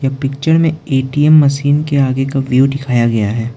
Picture A T M ए_टी_एम मशीन के आगे का व्यू दिखाया गया है।